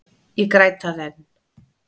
Ég græt það enn.